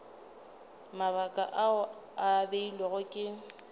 mabaka ao a beilwego ke